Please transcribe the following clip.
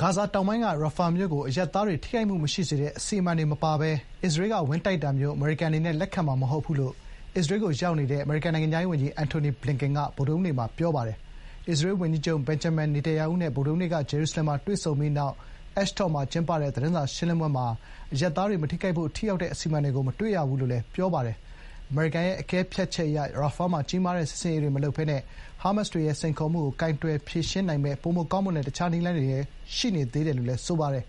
ဂါဇာတောင်ပိုင်းက ရာဖာမြို့ကို အရပ်သားတွေ ထိခိုက်မှုမရှိစေတဲ့ အစီအမံတွေ မပါဘဲ အစ္စရေးကဝင်တိုက်တာမျိုး အမေရိကန်ပြည်ထောင်စုအနေနဲ့ လက်ခံမှာ မဟုတ်ဘူးလို့ အစ္စရေးကိုရောက်နေတဲ့ အမေရိကန်နိုင်ငံခြားရေးဝန်ကြီး အန်ထိုနီဘလင်ကန်က ဗုဒ္ဓဟူးနေ့က ပြောပါတယ်။ အစ္စရေးဝန်ကြီးချုပ် ဘင်ဂျမင် နေတန်ယာဟုနဲ့ ဗုဒ္ဓဟူးနေ့က ဂျေရုဆလင်မှာတွေ့ဆုံပြီးနောက် Ashdod မှာ ကျင်းပတဲ့ သတင်းစာရှင်းလင်းပွဲမှာ “အရပ်သားတွေ မထိခိုက်ဖို့ ထိရောက်တဲ့ အစီအမံတွေကို မတွေ့ရဘူး” လို့ ဘလင်ကန်က ပြောပါတယ်။ “တချိန်တည်းမှာပဲ ကျနော်တို့ရဲ့အကဲဖြတ်ချက်အရ ရာဖာမှာ ကြီးမားတဲ့ စစ်ဆင်ရေးတွေမလုပ်ဘဲနဲ့ ဟာမတ်စ်တွေရဲ့ စိန်ခေါ်မှုကိုကိုင်တွယ်ဖြေရှင်းနိုင်မယ့် ပိုမိုကောင်းမွန်တဲ့ တခြားနည်းလမ်းတွေလည်း ရှိနေသေးတယ်” လို့ သူက ပြောပါတယ်။